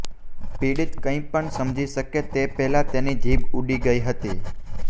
પીડિત કંઈપણ સમજી શકે તે પહેલાં તેની જીભ ઉડી ગઈ હતી